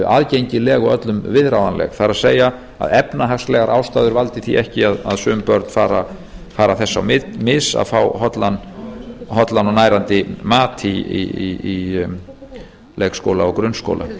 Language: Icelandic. aðgengileg og öllum viðráðanleg það er að efnahagslegar ástæður valdi því ekki að sum börn fara þess á mis að fá hollan og nærandi mat í leikskóla og